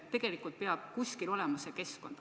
Tegelikult peab kuskil olema see keskkond.